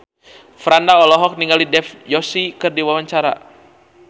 Franda olohok ningali Dev Joshi keur diwawancara